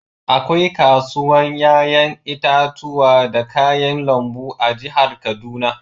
Akwai kasuwan yayan itatuwa da kayan lambu a'jihar Kaduna.